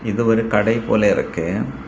இது ஒரு கடை போல இருக்கு.